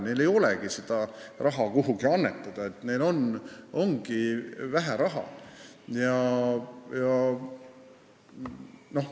Neil ei ole seda raha, et kuhugi annetada, neil ongi vähe raha.